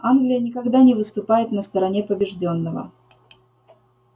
англия никогда не выступает на стороне побеждённого